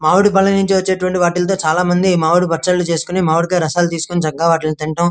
మామిడి పండ్ల నుండి వచేటువంటి వాటితో చాలామంది మామిడి పచెళ్లు చేసుకోని మామిడికాయ రసాలు తీసుకొని చక్కగా వాటిని తిన --